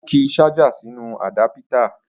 Ó ki ṣájà sínú àdápítà